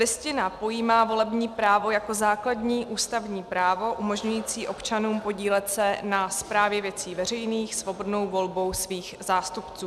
Listina pojímá volební právo jako základní ústavní právo umožňující občanům podílet se na správě věcí veřejných svobodnou volbou svých zástupců.